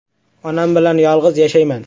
Onam bilan yolg‘iz yashayman.